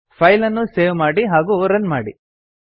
file ಅನ್ನು save ಮಾಡಿ ಹಾಗೂ ರನ್ ಮಾಡಿ